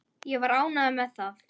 Ég var ánægður með það.